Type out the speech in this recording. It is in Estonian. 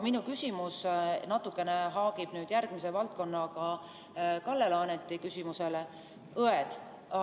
Minu küsimus natukene haakub Kalle Laaneti küsimusega järgmises valdkonnas: õed.